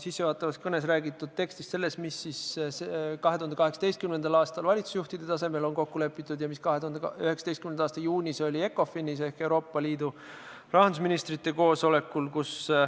sissejuhatavas kõnes räägitud tekstist seda, mis 2018. aastal valitsusjuhtide tasemel on kokku lepitud ja mis 2019. aasta juunis oli ECOFIN-is ehk Euroopa Liidu rahandusministrite koosolekul.